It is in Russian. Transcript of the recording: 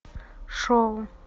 шоу